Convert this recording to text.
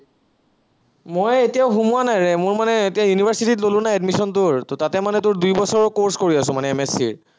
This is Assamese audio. মই এতিয়াও সোমোৱা নাইৰে। মোৰ মানে university ত ললো না admission তোৰ। তাতে মানে তোৰ দুই বছৰৰ course কৰি আছো মানে M. Sc. ৰ।